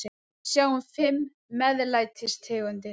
Við sjáum fimm MEÐLÆTIS tegundir.